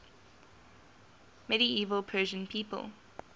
medieval persian people